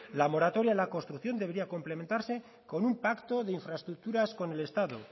la moratoria en la construcción debiera complementarse con un pacto de infraestructuras con el estado